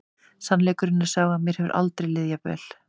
Sannleikurinn er sá að mér hefur aldrei liðið jafn vel.